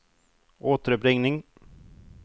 återuppringning